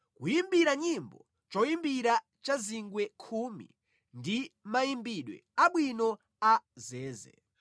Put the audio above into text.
kuyimbira nyimbo choyimbira cha zingwe khumi ndi mayimbidwe abwino a zeze.